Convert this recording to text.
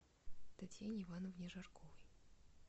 татьяне ивановне жарковой